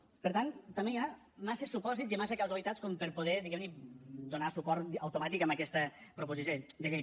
per tant també hi ha massa supòsits i massa causalitats com per poder diguem ne donar suport automàtic a aquesta proposició de llei